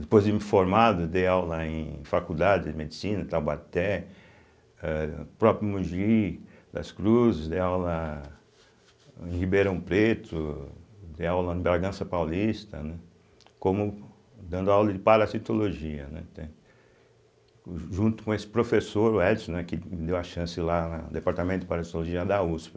Depois de me formado, dei aula em faculdade de medicina, em Taubaté, ah próprio Mogi das Cruzes, dei aula em Ribeirão Preto, dei aula em Bragança Paulista, né como dando aula de parasitologia, entende, o junto com esse professor, o Edson, né que me deu a chance lá no departamento de parasitologia da uspe.